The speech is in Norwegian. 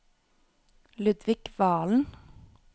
Ludvik Valen